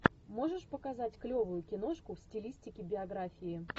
можешь показать клевую киношку в стилистике биографии